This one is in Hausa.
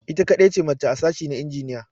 Ita kadai ce mace a sashi na aikin injiniya.